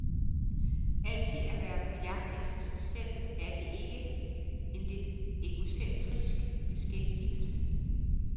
Altid at være på jagt efter sig selv, er det ikke en lidt egocentrisk beskæftigelse?